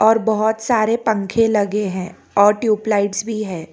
और बहुत सारे पंखे लगे हैं और ट्यूबलाइटस भी है।